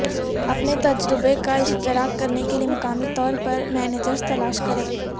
اپنے تجربے کا اشتراک کرنے کے لئے مقامی طور پر مینیجر تلاش کریں